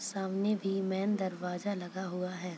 सामने भी मेन दरवाजा लगा हुआ है।